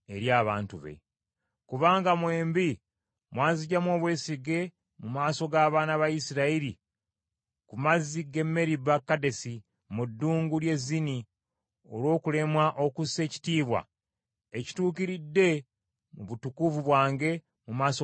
Kubanga mwembi mwanziggyamu obwesige mu maaso g’abaana ba Isirayiri ku mazzi g’e Meriba-Kadesi mu ddungu ly’e Zini, olw’okulemwa okussa ekitiibwa ekituukiridde mu butukuvu bwange mu maaso g’abaana ba Isirayiri.